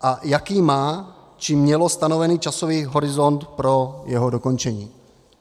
A jaký má či mělo stanovený časový horizont pro jeho dokončení?